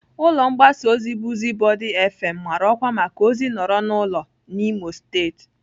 Ụlọ mgbasa ozi Buzubodi fm mara ọkwa maka ozi nọrọ n'ụlọ n'Imo steeti.